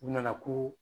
U nana ko